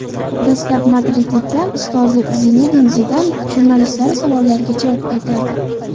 Dastlab madridliklar ustozi Zinedin Zidan jurnalistlari savollariga javob qaytardi.